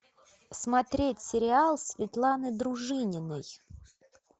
смотреть сериал светланы дружининой